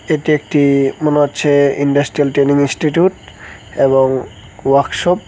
এটি একটি মনে হচ্ছে ইন্ডাস্ট্রিয়াল টেনিং ইনস্টিটিউট এবং ওয়াকসপ ।